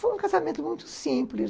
Foi um casamento muito simples.